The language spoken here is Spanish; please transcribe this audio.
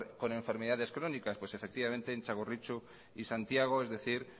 con enfermedades crónicas pues efectivamente en txagorritxu y santiago es decir